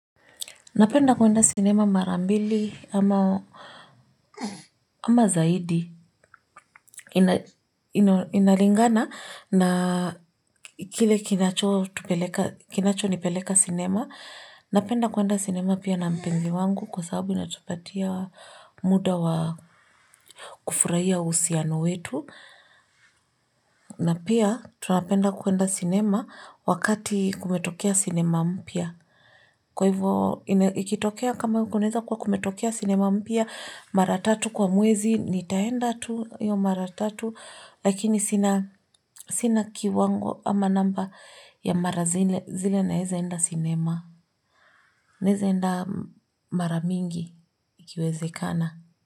Napenda kuenda sinema mara mbili ama ama zaidi inalingana na kile kinacho nipeleka sinema. Napenda kuenda sinema pia na mpenzi wangu kwa sababu natupatia muda wa kufurahia uhusiano wetu. Na pia tunapenda kuenda sinema wakati kumetokea sinema mpya. Kwa hivyo ikitokea kama kuweza kuwa kumetokea sinema mpya mara tatu kwa mwezi nitaenda tu hiyo mara tatu, lakini sina sina kiwango ama namba ya mara zile zile naezeenda sinema. Naezaenda mara mingi ikiwezekana.